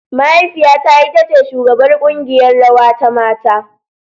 Mahaifiyata ita ce shugabar kungiƴar rawa ta mata.